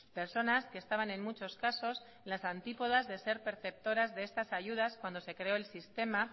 personas que estaban en muchos casos en las antípodas de ser perceptoras de estas ayudas cuando se creó el sistema